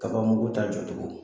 Kabanmugu ta jɔ cogo